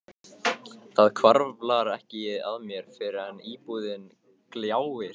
Það hvarflar ekki að mér fyrr en íbúðin gljáir.